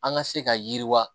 An ka se ka yiriwa